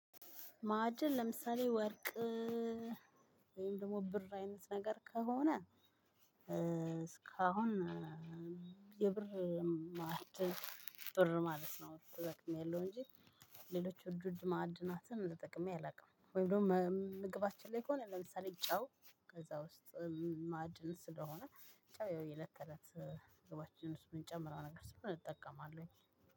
ማዕድን ለምሳሌ ወርቅ ወይም ደግሞ ብር አይነት ነገር ከሆነ። እስካሁን የብር ማዕድን ጥር ማለት ነው ተጠቅሜአለሁ እንጂ። ሌሎች ውድ ውድ ማዕድናትን ተጠቅሜ አላውቅም። ወይ ደግሞ ምግባችን ላይ ከሆነ ለምሳሌ ጨው ከዛ ውስጥ ማድን ስለሆነ ጨው የለት ተለት መግባችን ውስጥ የምንጨምረው ነገር ስለምን እጠቀማለሁኝ።